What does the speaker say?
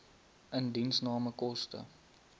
indiensname koste